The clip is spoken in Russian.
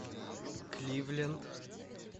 кливленд